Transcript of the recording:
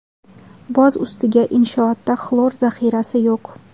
Boz ustiga inshootda xlor zaxirasi yo‘q.